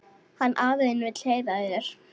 Hann afi þinn vill heyra í þér.